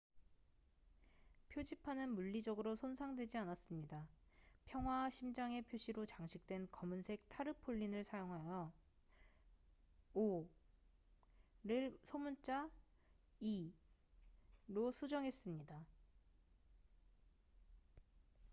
"표지판은 물리적으로 손상되지 않았습니다. 평화와 심장의 표시로 장식된 검은색 타르폴린을 사용하여 "o""를 소문자 "e""로 수정했습니다.